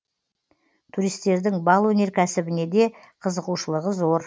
туристердің бал өнеркәсібіне де қызығушылығы зор